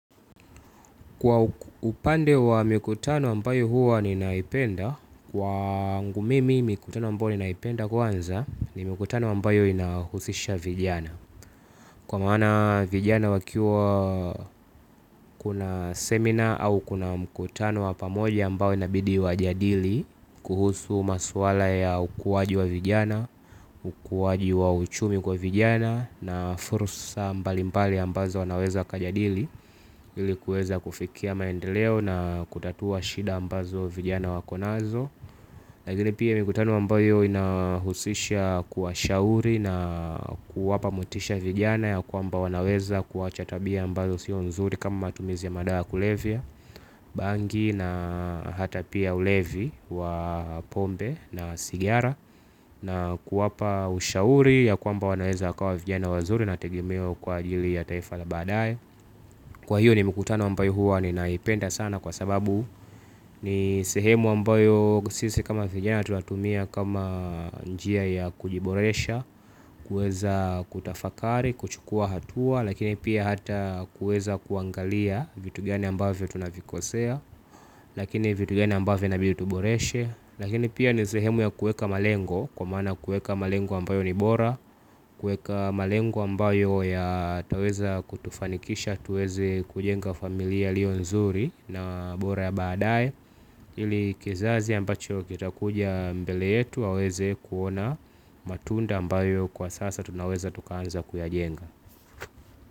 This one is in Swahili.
Kwa upande wa mikutano ambayo huwa ninaipenda, kwangu mimi mikutano ambayo ninaipenda kwanza ni mikutano ambayo inahusisha vijana. Kwa maana vijana wakiwa kuna seminar au kuna mkutano wa pamoja ambao inabidi wajadili kuhusu maswala ya ukuwaji wa vijana, ukuwaji wa uchumi kwa vijana na fursa mbalimpali ambazo wanaweza wakajadili ili kuweza kufikia maendeleo na kutatua shida ambazo vijana wako nazo. Lakini pia mikutano ambayo inahusisha kuwashauri na kuwapa motisha vijana ya kwamba wanaweza kuacha tabia ambazo sio nzuri kama matumizi ya madawa kulevya. Bangi na hata pia ulevi wa pombe na sigara na kuwapa ushauri ya kwamba wanaweza wakawa vijana wazuri na tegemeo kwa ajili ya taifa la baadae. Kwa hiyo ni mikutano ambayo huwa ninaipenda sana kwa sababu ni sehemu ambayo sisi kama vijana tunatumia kama njia ya kujiboresha. Kueza kutafakari, kuchukua hatua lakini pia hata kueza kuangalia vitu gani ambavyo tunavikosea. Lakini vitu gani ambavyo inabi tuboreshe. Lakini pia ni sehemu ya kueka malengo kwa maana kueka malengo ambayo ni bora. Kueka malengo ambayo yataweza kutufanikisha tuweze kujenga familia iliyo nzuri na bora ya badae ili kizazi ambacho kitakuja mbele yetu waweze kuona matunda ambayo kwa sasa tunaweza tukaanza kuyajenga.